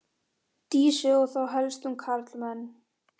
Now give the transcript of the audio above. Dísu og þá helst um karlmenn.